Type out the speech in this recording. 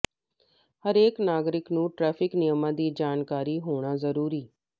ਹਰੇਕ ਨਾਗਰਿਕ ਨੂੰ ਟ੍ਰੈਿਫ਼ਕ ਨਿਯਮਾਂ ਦੀ ਜਾਣਕਾਰੀ ਹੋਣਾ ਜ਼ਰੂਰੀ